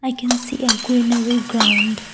i can see a greenery ground.